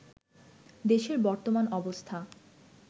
দেশের বর্তমান অবস্থা